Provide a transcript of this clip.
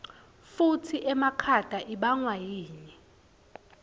kutsi emakhata ibangwayini